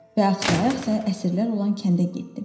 Və axsa-axsa əsirlər olan kəndə getdim.